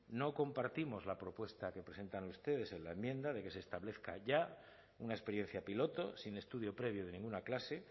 no compartimos la propuesta que presentan ustedes en la enmienda de que se establezca ya una experiencia piloto sin estudio previo de ninguna clase